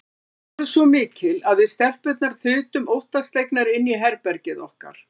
Lætin voru svo mikil að við stelpurnar þutum óttaslegnar inn í herbergið okkar.